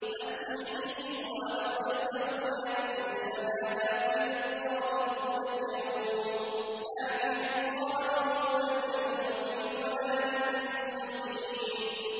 أَسْمِعْ بِهِمْ وَأَبْصِرْ يَوْمَ يَأْتُونَنَا ۖ لَٰكِنِ الظَّالِمُونَ الْيَوْمَ فِي ضَلَالٍ مُّبِينٍ